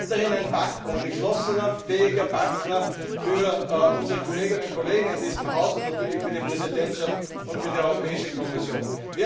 da. Wir sind weiterhin ein geschlossener, fähiger Partner für unsere Kolleginnen und Kollegen in diesem Haus und natürlich für die Präsidentschaft und für die Europäische Kommission.